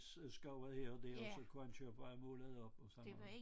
Øh skov er her og der og så kunne han køre på vej og måle det op og sådan noget